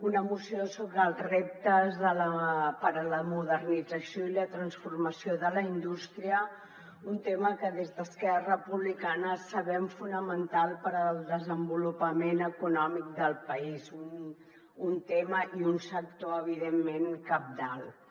una moció sobre els reptes per a la modernització i la transformació de la indústria un tema que des d’esquerra republicana sabem fonamental per al desenvolupament econòmic del país un tema i un sector evidentment cabdals